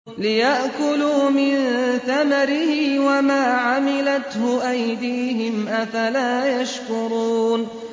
لِيَأْكُلُوا مِن ثَمَرِهِ وَمَا عَمِلَتْهُ أَيْدِيهِمْ ۖ أَفَلَا يَشْكُرُونَ